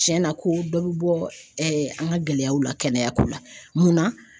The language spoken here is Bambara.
Cɛnna ko dɔ bɛ bɔ an ka gɛlɛyaw la kɛnɛyako la mun na?